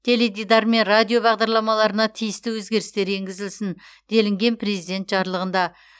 теледидар мен радио бағдарламаларына тиісті өзгерістер енгізілсін делінген президент жарлығында